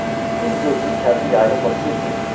Üz-gözünün tərini yaylıqla silmirdi.